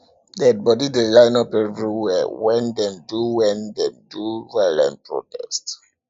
dead bodi dey line up everywhere wen dem do wen dem do violent protest